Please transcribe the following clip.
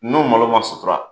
N'o malo ma sutura